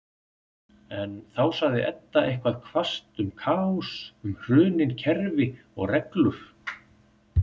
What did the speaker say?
En þá sagði Edda eitthvað hvasst um kaos, um hrunin kerfi og reglur-